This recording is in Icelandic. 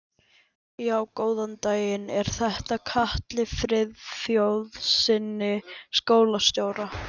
Já, góðan daginn. er þetta hjá Katli Friðþjófssyni, skólastjóra?